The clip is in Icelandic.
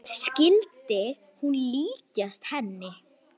Skyldi hún líkjast henni?